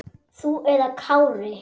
Þú eða Kári?